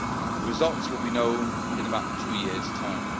The results will be known in about two years' time.